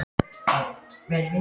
Illskan kemur ekki aftur í bráð.